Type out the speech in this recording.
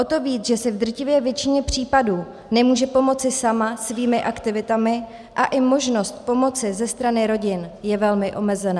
O to víc, že si v drtivé většině případů nemůže pomoci sama svými aktivitami a i možnost pomoci ze strany rodin je velmi omezená.